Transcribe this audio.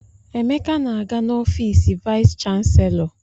Emeka na-aga n'ọfiisi vaịs chanselọ.